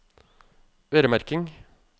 øremerking